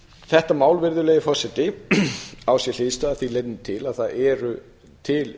þetta mál á sér hliðstæðu að því leytinu til að það eru til lífeyrissjóðir